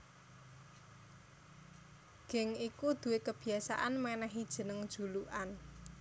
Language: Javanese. Geng iku duwé kabiyasan mènèhi jeneng julukan